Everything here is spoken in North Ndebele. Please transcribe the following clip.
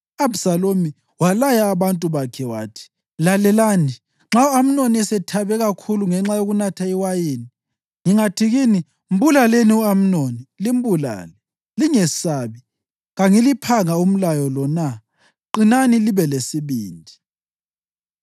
U-Abhisalomu walaya abantu bakhe wathi, “Lalelani! Nxa u-Amnoni esethabe kakhulu ngenxa yokunatha iwayini ngingathi kini, ‘Mbulaleni u-Amnoni!’ limbulale. Lingesabi. Kangiliphanga umlayo lo na? Qinani libe lesibindi.”